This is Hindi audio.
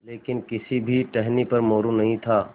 लेकिन किसी भी टहनी पर मोरू नहीं था